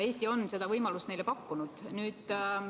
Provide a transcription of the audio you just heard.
Eesti on seda võimalust neile pakkunud.